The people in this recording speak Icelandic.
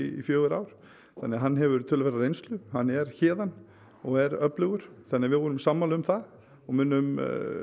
í fjögur ár þannig að hann hefur töluverða reynslu hann er héðan og er öflugur þannig að við vorum sammála um það og munum